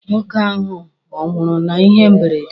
Nwoke ahụ ọ nwụrụ na ihe mberede?